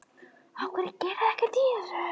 Af hverju gerið þið ekkert í þessu?